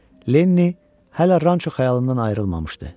Lenni hələ ranço xəyalından ayrılmamışdı.